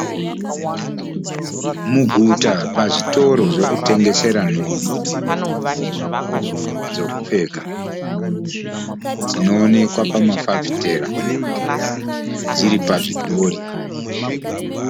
Muguta pazvitoro zvekutengesera nhumbi, dzekupfeka dzinoonekwa pamafafitera, dziri pazvidhori.